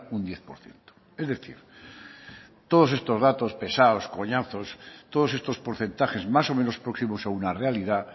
un diez por ciento es decir todos estos datos pesados coñazo todos estos porcentajes más o menos próximos a una realidad